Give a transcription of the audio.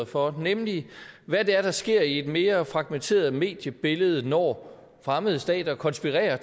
for nemlig hvad det er der sker i et mere fragmenteret mediebillede når fremmede stater konspirerer